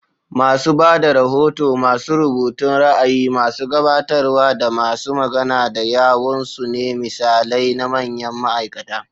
Masu ba da rahoto, masu rubutun ra'ayi, masu gabatarwa, da masu magana da yawun su ne misalai na manyan ma'aikata.